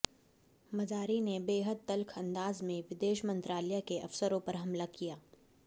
मजारी ने बेहद तल्ख अंदाज में विदेश मंत्रालय के अफसरों पर हमला किया